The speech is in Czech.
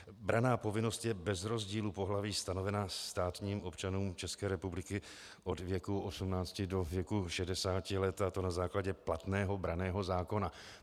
Branná povinnost je bez rozdílu pohlaví stanovena státním občanům České republiky od věku 18 do věku 60 let, a to na základě platného branného zákona.